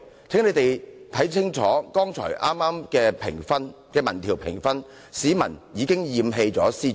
請他們看清楚剛才提及的民調評分，市民已經嫌棄司長。